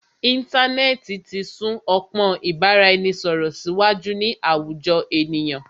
Íntanẹ́ẹ̀ti ti sún ọpọ́n ìbáraẹnisọ̀rọ̀ síwájú ní àwùjọ ènìyàn.